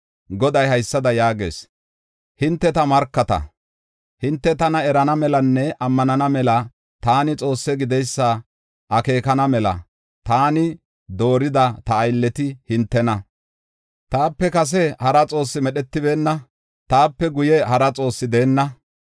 Goday haysada yaagees: “Hinte ta markata; hinte tana erana melanne ammanana mela taani Xoosse gideysa akeekana mela taani doorida ta aylleti hintena. Taape kase hara xoossi medhetibeenna; taape guye hara xoossi deenna.